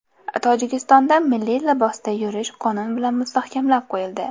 Tojikistonda milliy libosda yurish qonun bilan mustahkamlab qo‘yildi.